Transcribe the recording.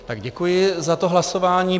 Tak děkuji za to hlasování.